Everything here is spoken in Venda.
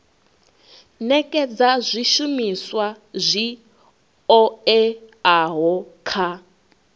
nekedza zwishumiswa zwi oeaho kha